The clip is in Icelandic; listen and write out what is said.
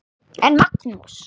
En Magnús